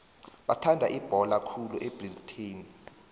bathanda ibhola khulu ebritani